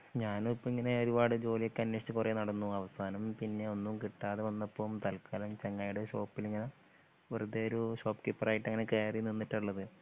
ഞാനും ഇപ്പ ഇങ്ങനെ ഒരുപാടു ജോലിയൊക്കെ അനേഷിച്ചു കുറെ നടന്നു അവസാനം പിന്നെ ഒന്നും കിട്ടാതെ വന്നപ്പോൾ തല്ക്കാലം ചെങ്ങായിടെ ഷോപ്പിലിങ്ങനെ വെറുതെയൊരു ഷോപ് കീപ്പറായിട്ട് കയറി നിന്നിട്ടാ ഉള്ളത്.